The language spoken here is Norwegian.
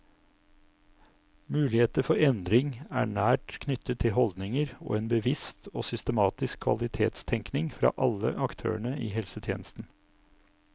Muligheter for endring er nært knyttet til holdninger og en bevisst og systematisk kvalitetstenkning fra alle aktørene i helsetjenesten.